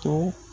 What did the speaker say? To